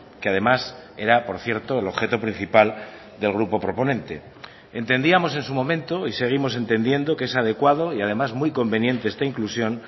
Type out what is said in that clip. que además era por cierto el objeto principal del grupo proponente entendíamos en su momento y seguimos entendiendo que es adecuado y además muy conveniente esta inclusión